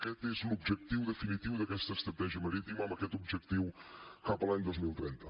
aquest és l’objectiu definitiu d’aquesta estratègia marítima amb aquest objectiu cap a l’any dos mil trenta